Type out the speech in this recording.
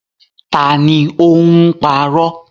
Ta ni ó ń parọ́?